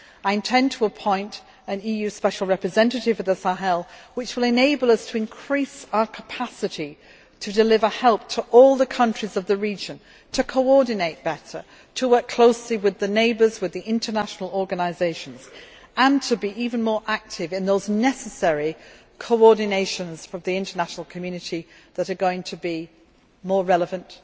I intend to appoint an EU Special Representative for the Sahel, which will enable us to increase our capacity to deliver help to all the countries of the region, to coordinate better, to work closely with the neighbours and international organisations, and to be even more active in the necessary coordination from the international community that is going to be even more relevant